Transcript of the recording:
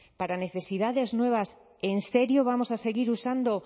para necesidades nuevas en serio vamos a seguir usando